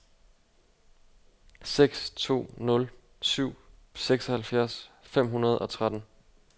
seks to nul syv seksoghalvfjerds fem hundrede og tretten